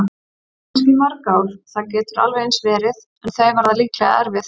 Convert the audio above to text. Kannski í mörg ár, það getur alveg eins verið- en þau verða líklega erfið.